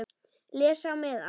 Les á miðann.